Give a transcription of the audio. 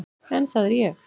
En það er ég.